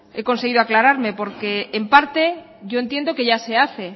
he conseguido aclararme porque en parte yo entiendo que ya se hace